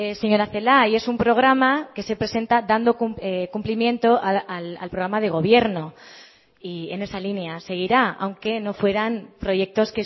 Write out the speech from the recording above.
señora celaá y es un programa que se presenta dando cumplimiento al programa de gobierno y en esa línea seguirá aunque no fueran proyectos